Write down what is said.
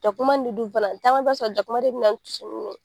Jakuma mun be dun fana , caman b'a sɔrɔ jakuma de be na ni